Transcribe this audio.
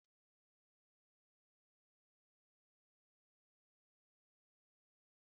Spageetí bụ nri dị mfe, ọ dị mma maka ikiri ibu